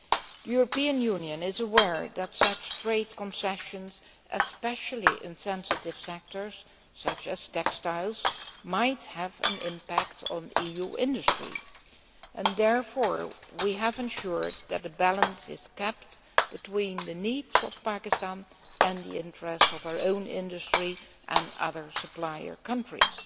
The European Union is aware that such trade concessions, especially in sensitive sectors such as textiles, might have an impact on EU industry, and therefore we have ensured that a balance is kept between the needs of Pakistan and the interests of our own industry and other supplier countries.